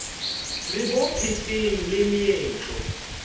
re bo phetseng le meetlo